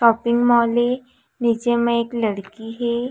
Shopping mall ए नीचे में एक लड़की हे।